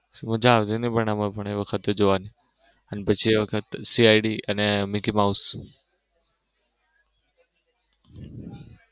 સુ મજા આવતી નઈ પણ એ વખતે જોવાની પછી એ વખત CID અને મિકી માઉસ